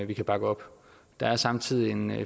kan bakke op der er samtidig en